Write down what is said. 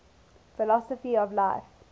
philosophy of life